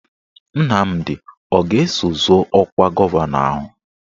Nnamdi a ga-eso zọọ ọkwa gọvanọ ahụ?